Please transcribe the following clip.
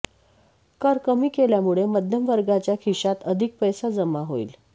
कर कमी केल्यामुळे मध्यमवर्गाच्या खिशात अधिक पैसा जमा होईल